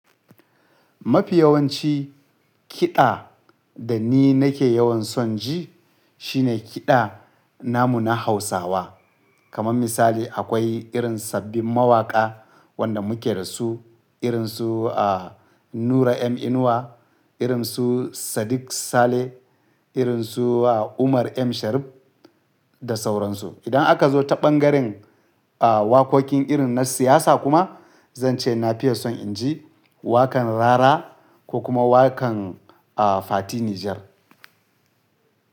Mafi yawanci kiɗa da ni nake yawan son ji shine kiɗa namu na Hausawa. Kaman misali akwai irin sabbin mawaƙa wanda muke da su, irin su a Nura M Inuwa, irin su Sadiq Saleh, irin su a Umar M Sharif da sauransu. Idan aka zo ta ɓangaren a waƙoƙin irin na siyasa kuma zan ce na fiye son inji waƙan Rara ko kuma waƙan a Fati Niger.